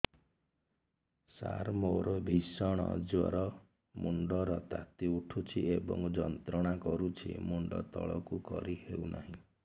ସାର ମୋର ଭୀଷଣ ଜ୍ଵର ମୁଣ୍ଡ ର ତାତି ଉଠୁଛି ଏବଂ ଯନ୍ତ୍ରଣା କରୁଛି ମୁଣ୍ଡ ତଳକୁ କରି ହେଉନାହିଁ